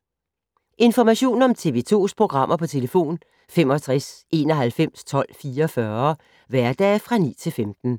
Information om TV 2's programmer: 65 91 12 44, hverdage 9-15.